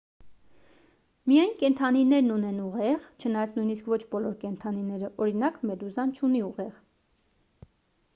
միայն կենդանիներն ունեն ուղեղ չնայած նույնիսկ ոչ բոլոր կենդանիները օրինակ` մեդուզան չունի ուղեղ: